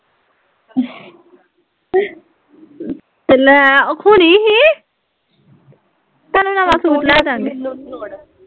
ਤੇ ਲੈ ਓਹ ਖੁੱਲਈ ਸੀ ਤੈਨੂੰ ਨਵਾਂ ਸੂਟ ਲੈ ਕੇ ਆਵਾਂਗੀ